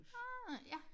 Ah ja